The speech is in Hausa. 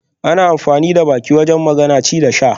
Ana amfani da baki wajen magana, ci da sha